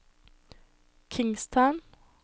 Kingstown